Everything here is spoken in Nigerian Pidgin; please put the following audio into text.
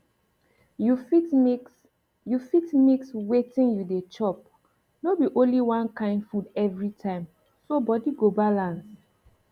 you fit mix you fit mix wetin you dey chopno be only one kain food every time so body go balance